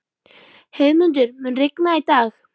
Heiðmundur, mun rigna í dag?